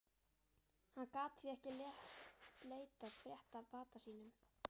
Hann gat því ekki leitað frétta af bata sínum.